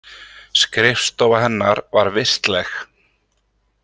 Skrifstofa hennar var vistleg.